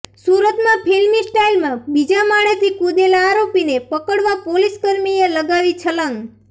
સુરતમાં ફિલ્મી સ્ટાઈલમાં બીજા માળેથી કૂદેલા આરોપીને પકડવા પોલીસકર્મીએ લગાવી છલાંગ